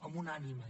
amb una ànima